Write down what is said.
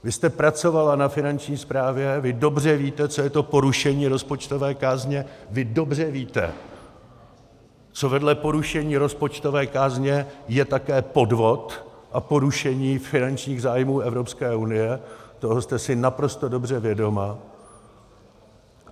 Vy jste pracovala na Finanční správě, vy dobře víte, co je to porušení rozpočtové kázně, vy dobře víte, co vedle porušení rozpočtové kázně je také podvod a porušení finančních zájmů Evropské unie, toho jste si naprosto dobře vědoma.